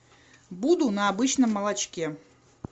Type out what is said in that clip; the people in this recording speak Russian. буду на обычном молочке